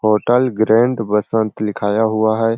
Hotel grand Basant लिखाया हुआ है।